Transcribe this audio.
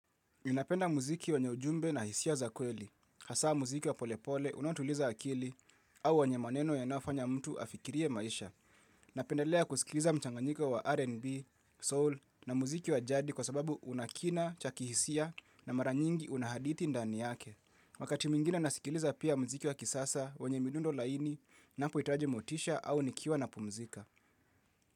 Napenda muziki wenye ujumbe na hisia za kweli. Hasaa muziki wa polepole unaotuliza akili au wenyemaneno yanayofanya mtu afikirie maisha. Napendelea kusikiliza mchanganyiko wa R&B, soul na muziki wa jadi kwa sababu una kina cha kihisia na mara nyingi una haditi ndani yake. Wakati mwingine nasikiliza pia muziki wa kisasa wenye midundo laini napoitaji motisha au nikiwa napumzika.